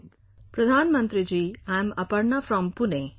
"Pradhan Mantri ji, I am Aparna from Pune